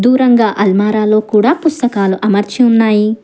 ఎరుపు రంగు అలమరలో కూడా పుస్తకాలు అమర్చిన్నాయి.